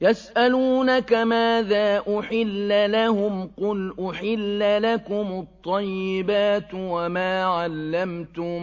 يَسْأَلُونَكَ مَاذَا أُحِلَّ لَهُمْ ۖ قُلْ أُحِلَّ لَكُمُ الطَّيِّبَاتُ ۙ وَمَا عَلَّمْتُم